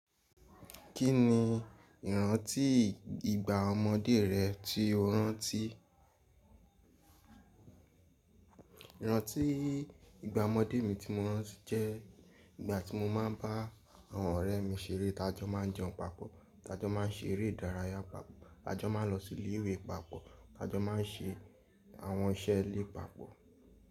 Kí ni ìrántí ìgbà ọmọdé rẹ tí o rántí? Ìgbà ọmọdé mi tí mo ranti jẹ, ìgbà tí mo máa ń bá àwọn ọ̀rẹ́ mi ṣeré, tájọ́ máa ń jẹun papọ̀, tájọ́ máa ń ṣeré ìdárayá papọ̀, tájọ́ máa ń lọ sí ilé ìwé papọ̀, tájọ́ máa ń ṣe àwọn iṣẹ́ ilé papọ̀